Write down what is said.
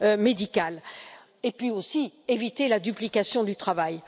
médicales et puis aussi éviter la duplication du travail